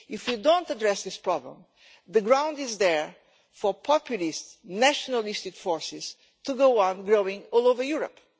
If you do not address this problem, the ground is there for populist nationalist forces to go on growing all over Europe.